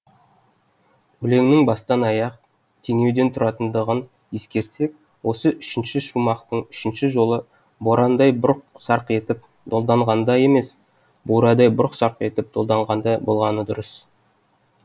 өлеңнің бастан аяқ теңеуден тұратындығын ескерсек осы үшінші шумақтың үшінші жолы борандай бұрқ сарқ етіп долданғанда емес бурадай бұрқ сарқ етіп долданғанда болғаны дұрыс